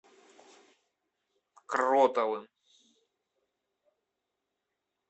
кротовым